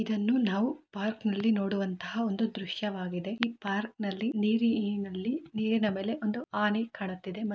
ಇದನ್ನು ನಾವು ಪಾರ್ಕನಲ್ಲಿ ನೋಡುವಂತ ಒಂದು ದೃಶ್ಯವಾಗಿದೆ. ಈ ಪಾರ್ಕನಲ್ಲಿ ನೀರಿನಲ್ಲಿ-ನೀರಿನ ಮೇಲೆ ಒಂದು ಆನೆ ಕಾಣುತಿದ್ದೆ.